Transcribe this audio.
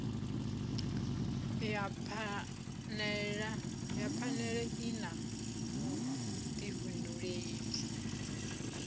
ya phanele i na vhudifhinduleli